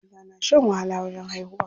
Mata na shan wahala wajen haihuwa.